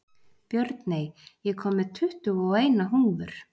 Björney, ég kom með tuttugu og eina húfur!